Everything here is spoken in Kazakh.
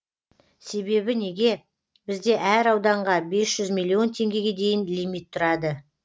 себебі неге бізде әр ауданға бес жүз миллион теңгеге дейін лимит тұрады